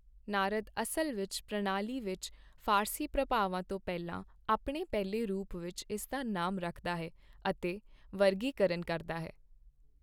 ਨਾਰਦ ਅਸਲ ਵਿੱਚ ਪ੍ਰਣਾਲੀ ਵਿੱਚ ਫ਼ਾਰਸੀ ਪ੍ਰਭਾਵਾਂ ਤੋਂ ਪਹਿਲਾਂ ਆਪਣੇ ਪਹਿਲੇ ਰੂਪ ਵਿੱਚ ਇਸ ਦਾ ਨਾਮ ਰੱਖਦਾ ਹੈ ਅਤੇ ਵਰਗੀਕਰਨ ਕਰਦਾ ਹੈ।